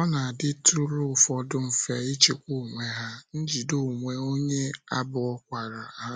Ọ na - adịtụrụ ụfọdụ mfe ịchịkwa onwe ha, njide onwe onye abụkwara ha